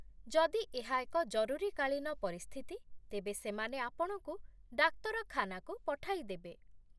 ଯଦି ଏହା ଏକ ଜରୁରୀକାଳୀନ ପରିସ୍ଥିତି, ତେବେ ସେମାନେ ଆପଣଙ୍କୁ ଡାକ୍ତରଖାନାକୁ ପଠାଇଦେବେ।